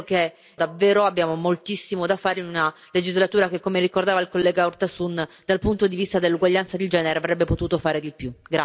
Credo davvero, però, che abbiamo moltissimo da fare in una legislatura che, come ricordava il collega Urtasun, dal punto di vista dell'uguaglianza di genere avrebbe potuto fare di più.